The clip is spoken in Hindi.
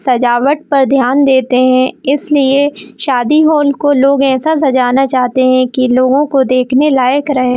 सजावट पर ध्यान देते है इसलिए शादी हो उनको लोग ऐसा सजाने चाहते है की लोगों को देखने लायक रहे।